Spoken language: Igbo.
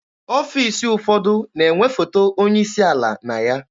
Ọfiisi ụfọdụ na-enwe foto onye isi ala na ya.